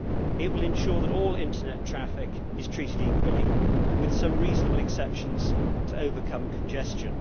It will ensure that all internet traffic is treated equally, with some reasonable exceptions to overcome congestion.